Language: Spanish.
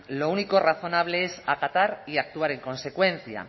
lo único razonable es acatar y actuar en consecuencia